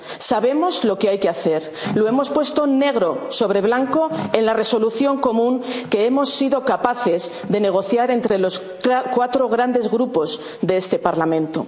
historia. Sabemos lo que hay que hacer, lo hemos puesto negro sobre blanco en la Resolución común que hemos sido capaces de negociar entre los cuatro grandes Grupos de este